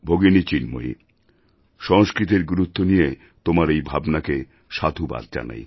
ভগিনী চিন্ময়ী সংস্কৃতের গুরুত্ব নিয়ে তোমার এই ভাবনাকে সাধুবাদ জানাই